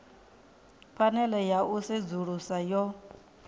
phanele ya u sedzulusa yo